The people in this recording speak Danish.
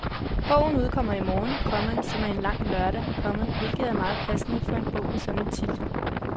Bogen udkommer i morgen, komma som er en lang lørdag, komma hvilket er meget passende for en bog med en sådan titel. punktum